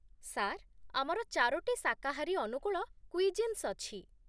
Sir, ଆମର ଚାରୋଟି ଶାକାହାରୀ ଅନୁକୂଳ କୁଇଜିନ୍ସ୍ ଅଛି।